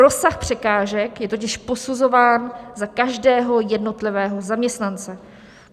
Rozsah překážek je totiž posuzován za každého jednotlivého zaměstnance.